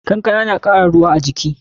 Kankana na kara ruwa a jiki.